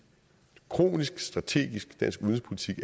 kronisk strategisk dansk udenrigspolitik